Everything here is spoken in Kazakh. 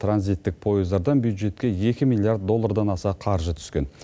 транзиттік пойыздардан бюджетке екі миллиард доллардан аса қаржы түскен